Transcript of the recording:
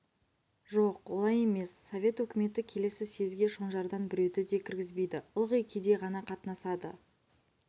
жоқ олай емес совет өкіметі келсе съезге шонжардан біреуді де кіргізбейді ылғи кедей ғана қатынасады